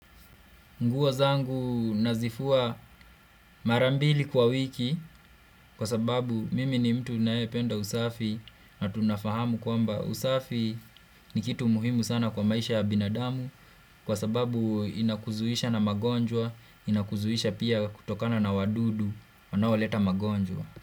Nguo zangu nazifua mara mbili kwa wiki kwa sababu mimi ni mtu ninayependa usafi na tunafahamu kwamba usafi ni kitu muhimu sana kwa maisha binadamu kwa sababu inakuzuisha na magonjwa, inakuzuisha pia kutokana na wadudu, wanaoleta magonjwa.